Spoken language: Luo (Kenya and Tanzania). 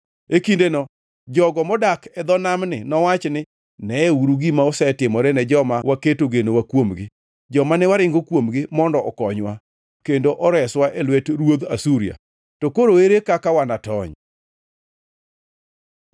E kindeno jogo modak e dho namni nowach ni, ‘Neuru gima osetimore ne joma waketo genowa kuomgi, joma ne waringo kuomgi mondo okonywa kendo oreswa e lwet ruodh Asuria! To koro, ere kaka wanatony?’ ”